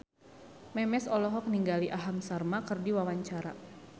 Memes olohok ningali Aham Sharma keur diwawancara